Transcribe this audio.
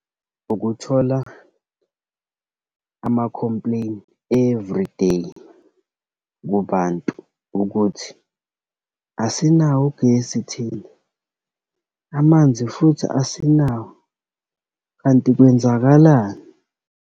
Ukuthola ama-complain every day kubantu, ukuthi asinawo ugesi thine, amanzi futhi asinawo. Kanti kwenzakalani?